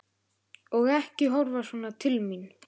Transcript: Og ekki horfa svona til mín!